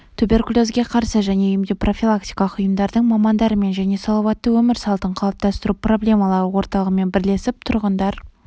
туберкулезге қарсы және емдеу-профилактикалық ұйымдардың мамандарымен және салауатты өмір салтын қалыптастыру проблемалары орталығымен бірлесіп тұрғындар